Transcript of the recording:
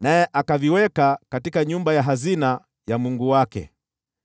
naye akaviweka nyumbani ya hazina ya mungu wake.